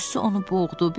Qüssə onu boğdu.